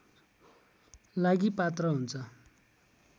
लागि पात्र हुन्छ